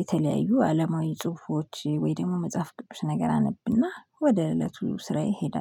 የተለያዩ አለማዊ ጽሁፎች ወይ ደግሞ መጽሐፍ ቅዱስ ነገር አነብና ወደ እለቱ ስራ ይሄዳለው